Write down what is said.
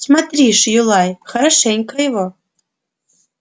смотри ж юлай хорошенько его